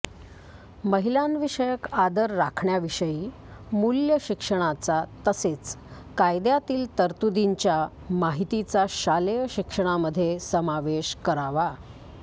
महिलांविषयक आदर राखण्याविषयी मूल्यशिक्षणाचा तसेच कायद्यातील तरतुदींच्या माहितीचा शालेय शिक्षणामध्ये समावेश करावा